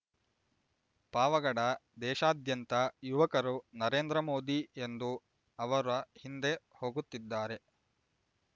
ಪಾವಗಡ ದೇಶಾದ್ಯಂತ ಯುವಕರು ನರೇಂದ್ರಮೋದಿ ಎಂದು ಅವರ ಹಿಂದೆ ಹೋಗುತ್ತಿದ್ದಾರೆ